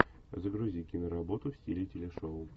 загрузи киноработу в стиле телешоу